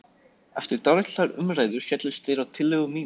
Eftir dálitlar umræður féllust þeir á tillögu mína.